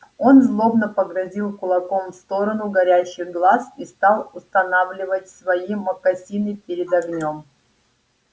он злобно погрозил кулаком в сторону горящих глаз и стал устанавливать свои мокасины перед огнём